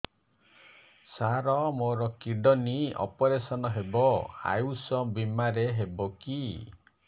ସାର ମୋର kidney operation ହେବ ଆୟୁଷ ବିମାରେ ହେବ କି